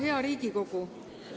Hea Riigikogu!